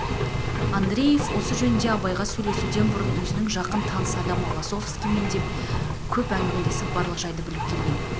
андреев осы жөнінде абайға сөйлесуден бұрын өзінің жақын таныс адамы лосовскиймен де көп әңгмелесіп барлық жайды біліп келген